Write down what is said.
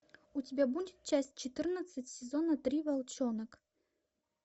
у тебя будет часть четырнадцать сезона три волчонок